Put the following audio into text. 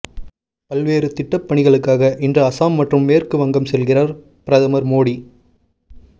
பல்வேறு திட்டப் பணிகளுக்காக இன்று அசாம் மற்றும் மேற்கு வங்கம் செல்கிறார் பிரதமர் மோடி